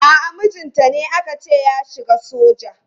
A'a mijinta ne aka ce ya shiga soja.